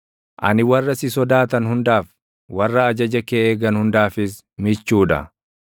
Ani warra si sodaatan hundaaf, warra ajaja kee eegan hundaafis michuu dha.